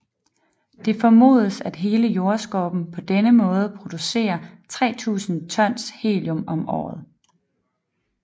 Det formodes at hele Jordskorpen på denne måde producerer 3000 tons helium om året